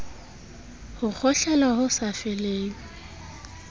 ho kgohlela ho sa feleng